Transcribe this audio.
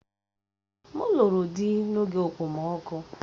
Èè, m lụrụ di n'oge okpomọkụ